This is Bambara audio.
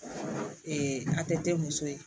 a tɛ te muso ye